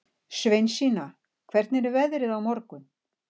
Sveinsína, hvernig er veðrið á morgun?